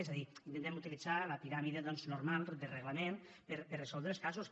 és a dir intentem utilitzar la piràmide doncs normal de reglament per resoldre els casos